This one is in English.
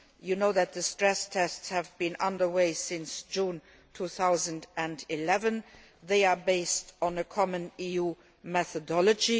As you know, the stress tests have been under way since June 2011. They are based on a common EU methodology.